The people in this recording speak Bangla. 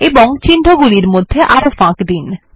এবং চিহ্নগুলির মধ্যে আরো ফাঁক দিন